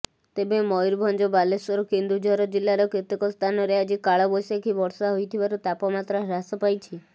ତେବେ ମୟୂରଭଞ୍ଜ ବାଲେଶ୍ବର କେନ୍ଦୁଝର ଜିଲ୍ଲାର କେତେକ ସ୍ଥାନରେ ଆଜି କାଳବ୘ଶାଖୀ ବର୍ଷା ହୋଇଥିବାରୁ ତାପମାତ୍ରା ହ୍ରାସ ପାଇଛି